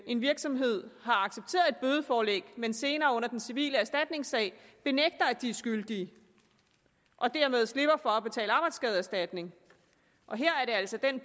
en virksomhed har accepteret et bødeforelæg men senere under den civile erstatningssag benægter at de er skyldige og dermed slipper for at betale arbejdsskadeerstatning her er det altså den